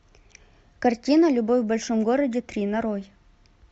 картина любовь в большом городе три нарой